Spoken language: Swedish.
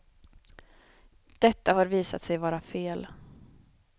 Detta har visat sig vara fel.